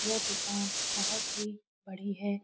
यह दुकान बहुत ही बड़ी है।